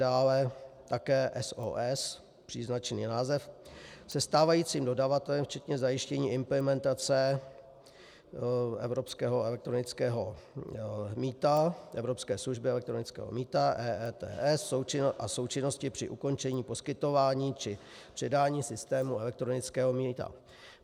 Dále také SOS, příznačný název, se stávajícím dodavatelem včetně zajištění implementace evropského elektronického mýta, evropské služby elektronického mýta EETS a součinnosti při ukončení poskytování či předání systému elektronického mýta.